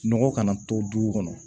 Nɔgɔ kana to dugu kɔnɔ